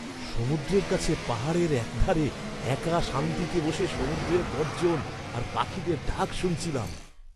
সমুদ্রের কাছে পাহাড়ের একধারে একা শান্তিতে বসে সমুদ্রের গর্জন আর পাখিদের ডাক শুনছিলাম।